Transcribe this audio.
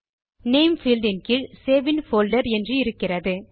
name field இன் கீழ் save in folder என்று இருக்கிறது